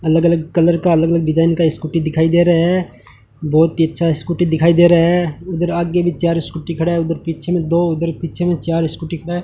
अलग अलग कलर का अलग अलग डिजाइन का स्कूटी दिखाई दे रहा है बहोत ही अच्छा स्कूटी दिखाई दे रहा है उधर आगे भी चार स्कूटी खड़ा है उधर पीछे में दो उधर पीछे में चार स्कूटी खड़ा है।